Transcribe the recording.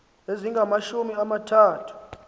ezingamashumi ama thathu